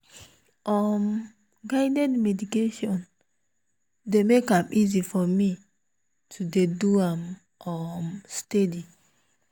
um guided meditation dey make am easy for me to dey do am um steady.